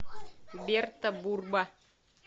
берта бурба